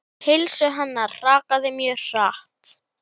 Heilsu hennar hrakaði mjög hratt.